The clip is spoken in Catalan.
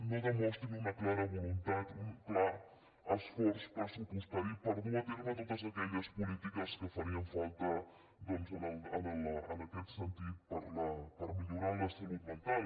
no demostrin un clara voluntat un clar esforç pressupostari per dur a terme totes aquelles polítiques que farien falta en aquest sentit per millorar la salut mental